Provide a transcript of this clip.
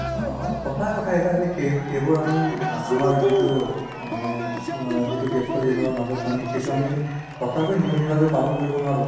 আ সচা কথা যে সেইবোৰ আমি আ আমাৰ যিতো মানে আ ব্যস্ত জিৱনৰ মাজত সেইটো আমি সচাকৈ নিয়ম হিচাপে পালন আমি কৰিব নোৱাৰো